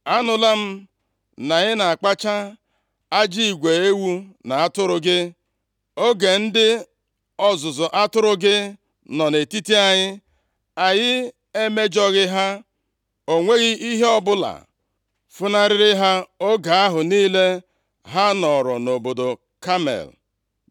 “ ‘Anụla m na ị na-akpacha ajị igwe ewu na atụrụ gị. Oge ndị ọzụzụ atụrụ gị nọ nʼetiti anyị, anyị emejọghị ha, o nweghị ihe ọbụla funarịrị ha oge ahụ niile ha nọrọ nʼobodo Kamel.